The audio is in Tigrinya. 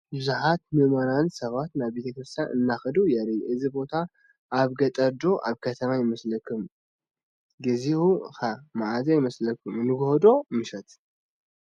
ብዙሓት ምእመናን ሰባት ናብ ቤተ ክርስትያን እንትኸዱ የርኢ፡፡ እዚ ቦታ ኣበ ገጠር ዶ ኣብ ከተማ ይመስል? ጊዜኡ ኸ ማዓዝ ይመስል ንጎሆ ዶ ምሽት?